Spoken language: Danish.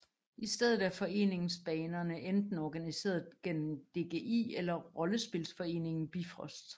I stedet er foreningsbanerne enten organiseret gennem DGI eller rollespilsforeningen Bifrost